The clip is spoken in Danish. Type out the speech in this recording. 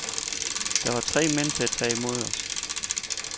Der var tre mænd til at tage imod os.